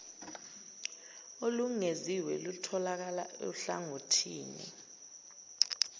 olungeziwe lutholakala ohlangothini